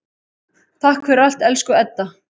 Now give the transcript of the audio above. Takk fyrir allt, elsku Edda.